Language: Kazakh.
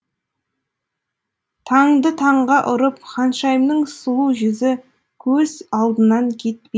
таңды таңға ұрып ханшайымның сұлу жүзі көз алдынан кетпей